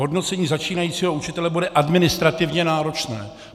Hodnocení začínajícího učitele bude administrativně náročné.